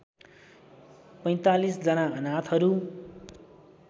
४५ जना अनाथहरू